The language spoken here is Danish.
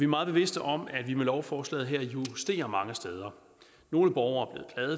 meget bevidste om at vi med lovforslaget her justerer mange steder nogle borgere er